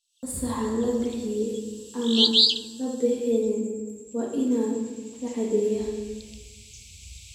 Fasaxa la bixiyay ama aan la bixin waa in la caddeeyaa.